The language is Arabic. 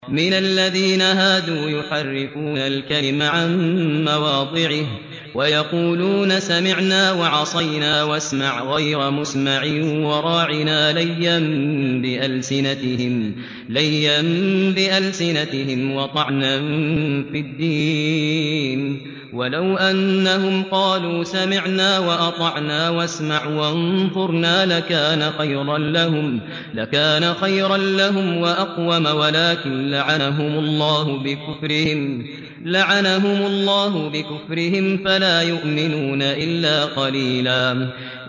مِّنَ الَّذِينَ هَادُوا يُحَرِّفُونَ الْكَلِمَ عَن مَّوَاضِعِهِ وَيَقُولُونَ سَمِعْنَا وَعَصَيْنَا وَاسْمَعْ غَيْرَ مُسْمَعٍ وَرَاعِنَا لَيًّا بِأَلْسِنَتِهِمْ وَطَعْنًا فِي الدِّينِ ۚ وَلَوْ أَنَّهُمْ قَالُوا سَمِعْنَا وَأَطَعْنَا وَاسْمَعْ وَانظُرْنَا لَكَانَ خَيْرًا لَّهُمْ وَأَقْوَمَ وَلَٰكِن لَّعَنَهُمُ اللَّهُ بِكُفْرِهِمْ فَلَا يُؤْمِنُونَ إِلَّا قَلِيلًا